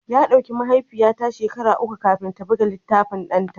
Ya ɗauki mahaifiyata shekaru uku kafin ta buga littafin ɗanta